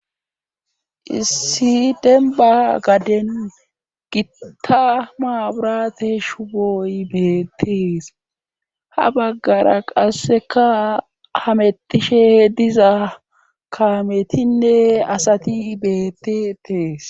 issi denba gaden gitta maburate shuboy beetees ha baggara qasseka hametishe diza kametinne asati beetitees